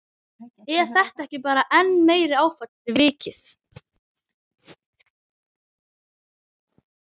Er þetta ekki bara enn meira áfall fyrir vikið?